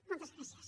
moltes gràcies